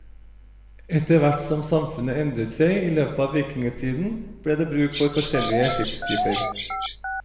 Etterhvert som samfunnet endret seg i løpet av vikingtiden, ble det bruk for forskjellige skipstyper.